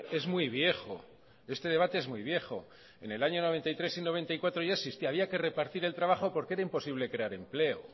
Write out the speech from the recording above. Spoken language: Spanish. es muy viejo este debate es muy viejo en el año noventa y tres y noventa y cuatro ya existía había que repartir el trabajo porque era imposible crear empleo